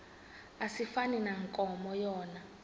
asifani nankomo yona